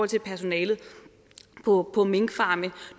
til personalet på minkfarme